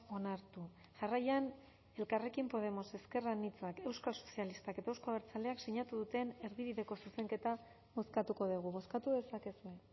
onartu jarraian elkarrekin podemos ezker anitzak euskal sozialistak eta euzko abertzaleak sinatu duten erdibideko zuzenketa bozkatuko dugu bozkatu dezakezue